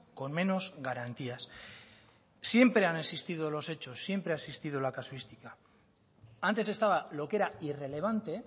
con menos garantías siempre han existido los hechos siempre ha existido la casuística antes estaba lo que era irrelevante